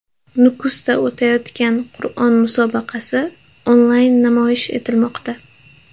Nukusda o‘tayotgan Qur’on musobaqasi onlayn namoyish etilmoqda.